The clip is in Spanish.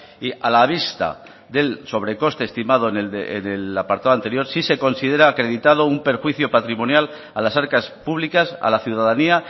y a la vista del sobrecoste estimado en el apartado anterior sí se considera acreditado un perjuicio patrimonial a las arcas públicas a la ciudadanía